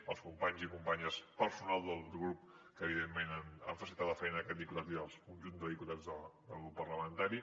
als companys i companyes personal del grup que evidentment han facilitat la feina a aquest diputat i al conjunt de diputats del grup parlamentari